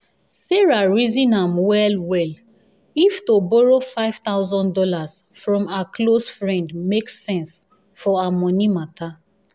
sarah reason am well-well if to borrow five thousand dollars from her close friend make sense for her money matter.